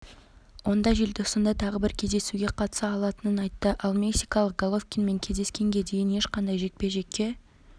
онда желтоқсанда тағы бір кездесуге қатыса алатынын айтты ал мексикалық головкинмен кездескенге дейін ешқандай жекпе-жекке